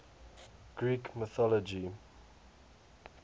greek mythology